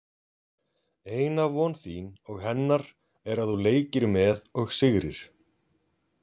Eina von þín og hennar er að þú leikir með og sigrir.